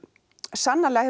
sannarlega